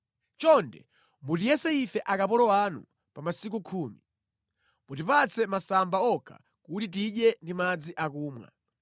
“Chonde mutiyese ife akapolo anu pa masiku khumi: mutipatse masamba okha kuti tidye ndi madzi akumwa.